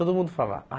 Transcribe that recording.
Todo mundo fala ah